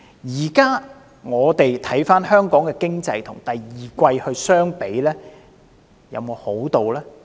現在我們回看香港的經濟，跟第二季相比，有沒有好轉呢？